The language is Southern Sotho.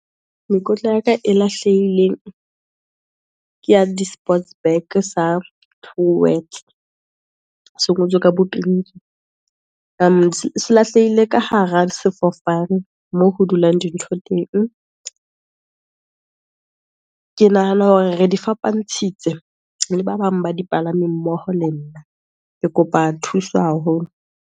Mekotla ya ka e lahlehileng, ke ya di-sports bag sa Truworths, se ngotswe ka bo pink-i, selahlehile ka hara sefofane, moo ho dulang dintho teng. Ke nahana hore re di fapantshitswe, le ba bang ba dipalami mmoho le nna, ke kopa thuso haholo.